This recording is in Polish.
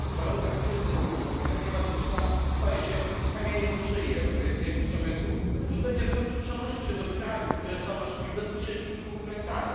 W warunkach kryzysu polityka klimatyczna staje się kamieniem u szyi europejskiego przemysłu, który będzie w końcu przenosił się do krajów, które są naszymi bezpośrednimi konkurentami.